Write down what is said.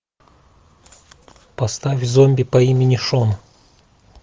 поставь зомби по имени шон